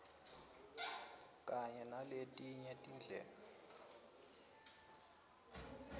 kanye naletinye tinhlelo